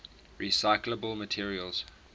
recyclable materials